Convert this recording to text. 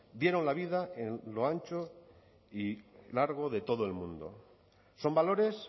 dieron la vida en lo ancho y largo de todo el mundo son valores